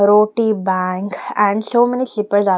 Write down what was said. Roti bank and so many slippers are --